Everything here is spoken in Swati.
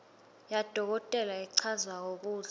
yadokotela lechazako kutsi